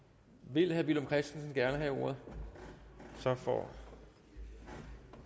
vil herre villum christensen gerne have ordet så får han